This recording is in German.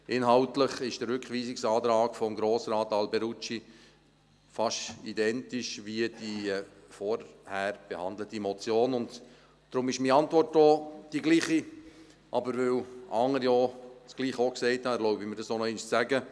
Inhaltlich ist der Rückweisungsantrag von Grossrat Alberucci fast identisch mit der vorher behandelten Motion, und darum ist meine Antwort auch die gleiche, aber weil andere auch das Gleiche gesagt haben, erlaube ich mir, es noch einmal zu sagen.